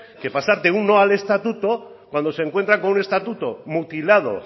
que pasar de un no al estatuto cuando se encuentra con un estatuto mutilado